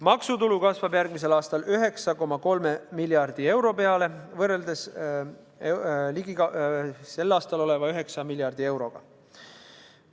Maksutulu kasvab järgmisel aastal 9,3 miljardi euroni, sel aastal on see 9 miljardit eurot.